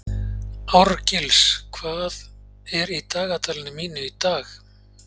Árgils, hvað er í dagatalinu mínu í dag?